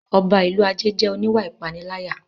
Ọba ìlú Ajé jẹ́ oníwà ìpániláyà